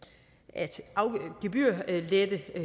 at gebyrlette